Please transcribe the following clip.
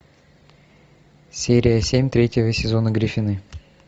серия семь третьего сезона гриффины